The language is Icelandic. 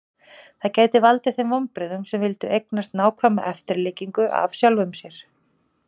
Það gæti valdið þeim vonbrigðum sem vildu eignast nákvæma eftirlíkingu af sjálfum sér.